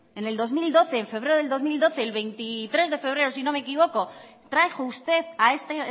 en febrero del dos mil doce el veintitrés de febrero si no me equivoco trajo usted a este